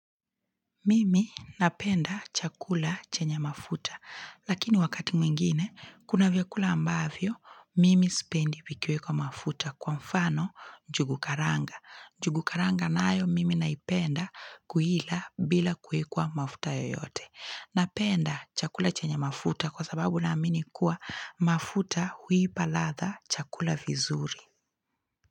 Mimi napenda chakula chenye mafuta, lakini wakati mwingine, kuna vyakula ambavyo, mimi spendi vikiwekwa mafuta kwa mfano njugu karanga. Njugu karanga nayo, mimi naipenda kuila bila kuwekwa mafuta yoyote. Napenda chakula chenye mafuta kwa sababu naamini kuwa mafuta huipalatha chakula vizuri.